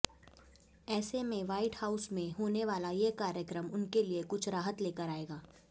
ऐसे में White House में होने वाला ये कार्यक्रम उनके लिए कुछ राहत लेकर आएगा